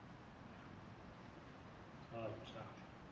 હા અચ્છા